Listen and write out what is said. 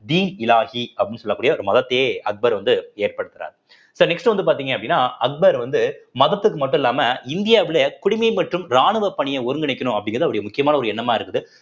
டின்-இ இலாஹி அப்படின்னு சொல்லக்கூடிய ஒரு மதத்தையே அக்பர் வந்து ஏற்படுத்துறாரு so next வந்து பார்த்தீங்க அப்படின்னா அக்பர் வந்து மதத்துக்கு மட்டும் இல்லாம இந்தியாவிலே குடிமை மற்றும் ராணுவப் பணியை ஒருங்கிணைக்கணும் அப்படிங்கிறது அவருடைய முக்கியமான ஒரு எண்ணமா இருக்குது